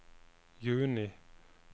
juni